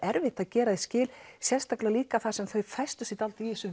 erfitt að gera því skil sérstaklega líka þar sem þau festu sig dálítið í þessu